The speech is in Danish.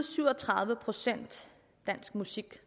syv og tredive procent dansk musik